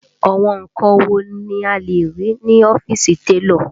Àwọn nǹkan wo ni a lè rí ní ọ́fíìsì télọ̀?